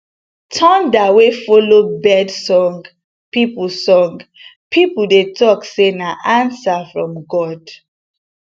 thunder wey follow bird song people song people dey talk say na answer from god